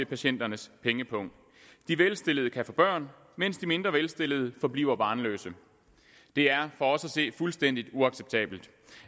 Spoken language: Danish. patienternes pengepung de velstillede kan få børn mens de mindre velstillede forbliver barnløse det er for os at se fuldstændig uacceptabelt